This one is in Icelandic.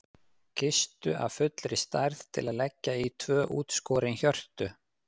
Kistu af fullri stærð til að leggja í tvö útskorin hjörtu.